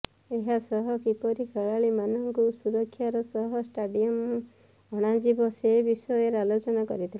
ଏହାସହ କିପରି ଖେଳାଳିମାନଙ୍କୁ ସୁରକ୍ଷାର ସହ ଷ୍ଟାଡିୟମ ଅଣାଯିବ ସେ ବିଷୟରେ ଆଲୋଚନା କରିଥିଲେ